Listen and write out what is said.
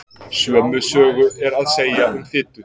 Sömu sögu er að segja um fitu.